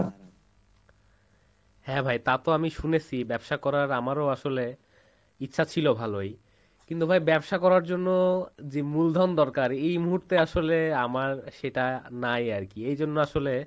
হ্যাঁ ভাই তা তো আমি শুনেছি, ব্যবসা করার আমারও আসলে ইচ্ছা ছিল ভালোই, কিন্তু ভাই ব্যবসা করার জন্য যে মূলধন দরকার এই মুহূর্তে আসলে আমার সেটা নাই আরকি এই জন্য আসলে,